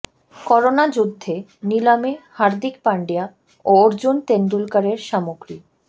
corona যুদ্ধে নিলামে হার্দিক পান্ডিয়া ও অর্জুন তেন্ডুলকরের সামগ্রী